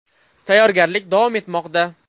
Tayyorgarlik davom etmoqda.